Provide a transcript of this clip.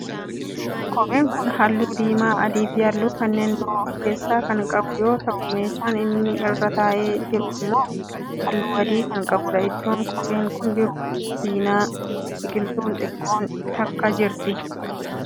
Kopheen kun halluu diimaa, adii fi halluu kanneen biroo of keessaa kan qabu yoo ta'u meeshaan inni irra taa'ee jiru immoo halluu adii kan qabudha. Iddoon kopheen kun jiru cinaa biqiltuun xiqqoon takka jirti.